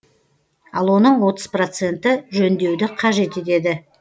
ал оның отыз проценті жөндеуді қажет етеді